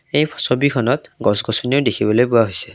এই ছবিখনত গছ গছনিও দেখিবলৈ পোৱা হৈছে।